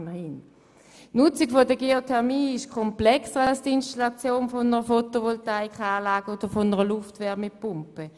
Die Nutzung der Geothermie ist komplexer als die Installation einer Photovoltaikanlage oder einer Luftwärmepumpe.